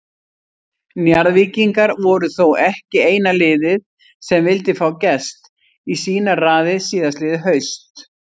Njarðvíkingar voru þó ekki eina liðið sem vildi fá Gest í sínar raðir síðastliðið haust.